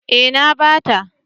Eh na bata.